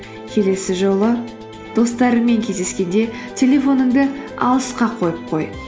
келесі жолы достарыңмен кездескенде телефоныңды алысқа қойып қой